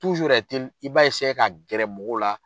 ka gɛrɛ mɔgɔw la.